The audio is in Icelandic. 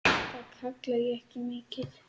Það kalla ég ekki mikið.